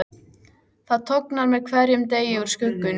Það tognar með hverjum degi úr skuggunum.